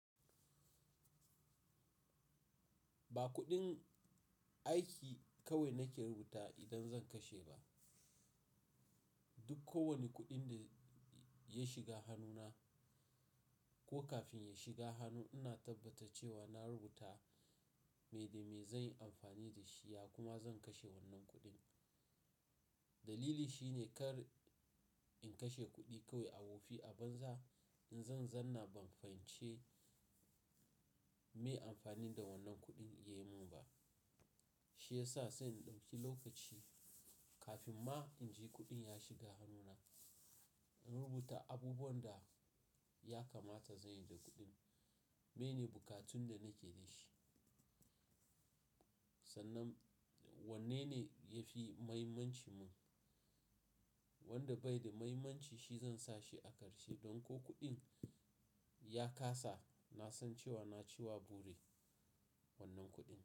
Ba kuɗin aiki kawai nake rubuta idan zan kashe ba. Duk kowane kuɗin da ya shiga hannuna ko kafin ya shiga hannu, ina tabbata cewa na rubuta me da me zan yi amfani da shi, ya kuma zan kashe wannan kuɗin. Dalili shine kar in kashe kuɗi kawai a wofi a banza in zan, zan na ban fahimci me amfani da wannan kuɗin ya yi mun ba. Shi ya sa sai in ɗauki lokaci kafin ma in ji kuɗin ya shiga hannuna, in rubuta abubuwan da ya kamata zan yi da kuɗin. Mene bukatun da nake da shi? Sannan wanne ne ya fi mahimmanci mun? Wanda bai da mahimmanci shi zan sa shi a ƙarshe don ko kuɗin ya kasa, na san cewa na ciwa bure wannan kuɗin.